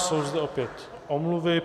Jsou zde opět omluvy.